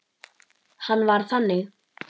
Hann var þannig.